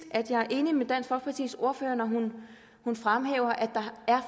at jeg er enig med dansk folkepartis ordfører når hun fremhæver at der er